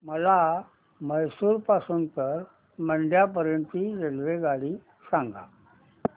मला म्हैसूर पासून तर मंड्या पर्यंत ची रेल्वेगाडी सांगा